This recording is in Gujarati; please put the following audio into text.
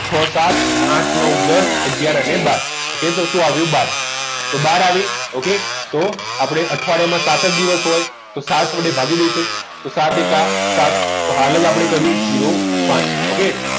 છ સાત આઠ નવ દસ અગિયાર અને બાર ok તો શું આવ્યું બહાર તો બહાર આવી okay તો આપણે અઠવાડિયાના સાત જ દિવસ હોય તો સાત વડે ભાગી દઈશું તો સાત એકા સાત તો answer છે zero પાંચ